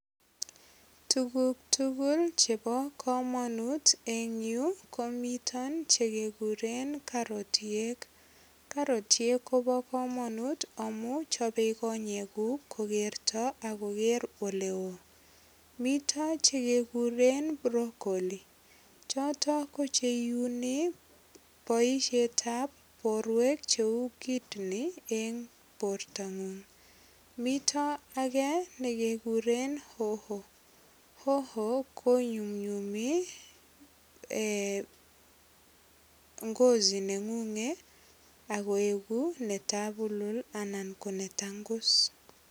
Tuguk tugul chebo kamanut eng yu komito che kekuren karotiek. Karorotiek kobo kamanut amu chopei konyekuk kokerto ak koker ole oo. Mito che kekuren brocolli. Choto ko cheuni boisiet ab borwek cheu kidney eng bortangung. Mito age nekekuren hoho. Hoho kunyumnyumi ngozi nengung agoegu netabulul ana ko netangus.